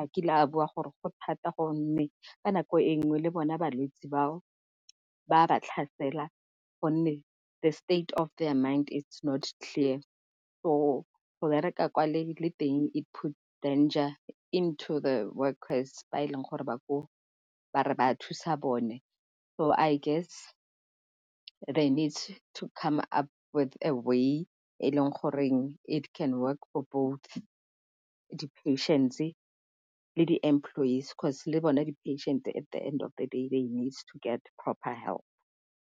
a kile a bua gore go thata gonne ka nako e nngwe le bona balwetsi bao ba ba tlhasela gonne the state of their mind is not clear. So go bereka kwa le teng it put danger into the workers ba e leng gore ba koo ba re ba thusa bone. So I guess they need to come up with a way e leng goreng it can work for both patients and employees 'cause le bone di patient at the end of the day they need to get proper help.